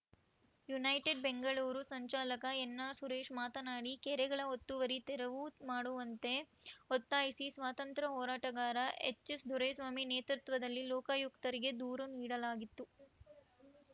United Bengaluru ಸಂಚಾಲಕ N R Suresh ಮಾತನಾಡಿ ಕೆರೆಗಳ ಒತ್ತುವರಿ ತೆರವು ಮಾಡುವಂತೆ ಒತ್ತಾಯಿಸಿ ಸ್ವಾತಂತ್ರ್ಯ ಹೋರಾಟಗಾರ ಎಚ್‌ಎಸ್‌ ದೊರೆಸ್ವಾಮಿ ನೇತೃತ್ವದಲ್ಲಿ ಲೋಕಾಯುಕ್ತರಿಗೆ ದೂರು ನೀಡಲಾಗಿತ್ತು